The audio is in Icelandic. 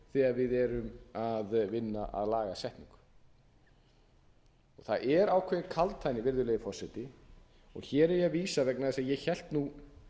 þegar við erum að vinna að lagasetningu það er ákveðin kaldhæðni virðulegi forseti og hér er ég að vísa vegna þess að ég hélt nú